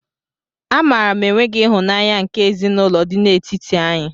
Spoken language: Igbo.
A maara m enweghị ịhụnanya nke ezinaụlọ dị n'etiti anyị.